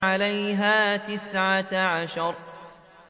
عَلَيْهَا تِسْعَةَ عَشَرَ